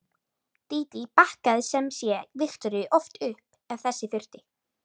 Dídí bakkaði sem sé Viktoríu oft upp ef þess þurfti.